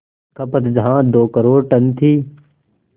खपत जहां दो करोड़ टन थी